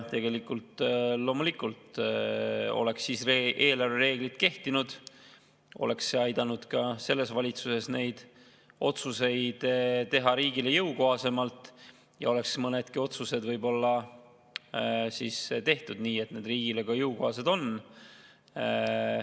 Loomulikult, kui siis oleksid eelarvereeglid kehtinud, oleks see aidanud ka selles valitsuses neid otsuseid teha riigile jõukohasemalt ja oleks mõnedki otsused tehtud võib-olla nii, et need riigile jõukohased ka on.